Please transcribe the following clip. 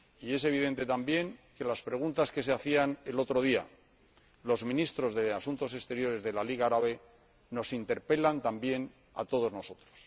Es evidente también que las preguntas que se hacían el otro día los Ministros de Asuntos Exteriores de la Liga Árabe nos interpelan también a todos nosotros.